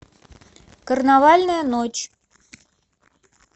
карнавальная ночь